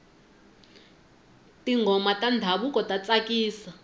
tinghoma ta ndhavuko ta tsakisa